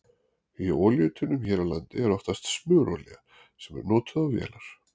Í olíutunnum hér á landi er oftast smurolía sem er notuð á vélar.